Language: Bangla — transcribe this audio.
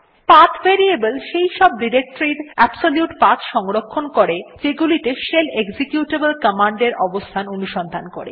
পাথ ভেরিয়েবল সেই সব ডিরেক্টরীর এর অ্যাবসোলিউট পাথ সংরক্ষণ করে যেগুলিতে শেল এক্সিকিউটেবল কমান্ড এর অবস্থান অনুসন্ধান করে